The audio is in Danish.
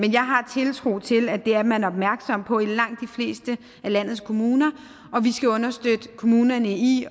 jeg har tiltro til at det er man opmærksom på i langt de fleste af landets kommuner og vi skal understøtte kommunerne i